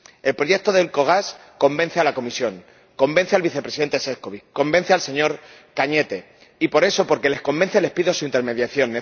El proyecto de Elcogas convence a la Comisión, convence al Vicepresidente Šefčovič, convence al señor Cañete, y por eso, porque les convence, les pido su intermediación.